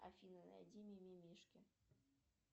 афина найди ми ми мишки